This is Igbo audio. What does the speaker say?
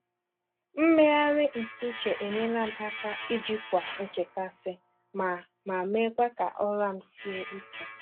Mmegharị ntụ uche enyela m aka ijikwa nchekasị ma ma mekwa ka ụra m sie ike.